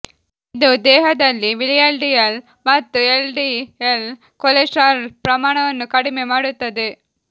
ಇದು ದೇಹದಲ್ಲಿ ವಿಎಲ್ಡಿಎಲ್ ಮತ್ತು ಎಲ್ಡಿಎಲ್ ಕೊಲೆಸ್ಟರಾಲ್ ಪ್ರಮಾಣವನ್ನು ಕಡಿಮೆ ಮಾಡುತ್ತದೆ